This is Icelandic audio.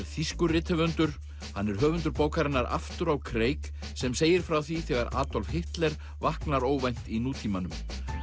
þýskur rithöfundur hann er höfundur bókarinnar aftur á kreik sem segir frá því þegar Adolf Hitler vaknar óvænt í nútímanum